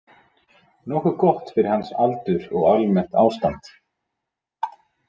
Nokkuð gott fyrir hans aldur og almennt ástand.